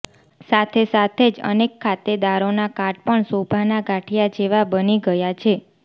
સાથે સાથે જ અનેક ખાતેદારોના કાર્ડ પણ શોભાના ગાંઠીયા જેવા બની ગયા છે